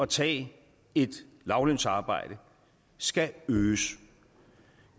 tage et lavtlønsarbejde skal øges